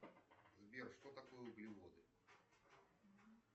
сбер что такое углеводы